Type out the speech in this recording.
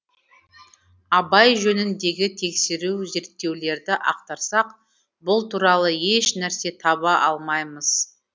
абай жөніндегі тексеру зерттеулерді ақтарсақ бұл туралы еш нәрсе таба алмаймыз